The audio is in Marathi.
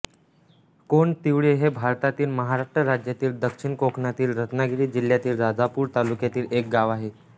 कोंड तिवरे हे भारतातील महाराष्ट्र राज्यातील दक्षिण कोकणातील रत्नागिरी जिल्ह्यातील राजापूर तालुक्यातील एक गाव आहे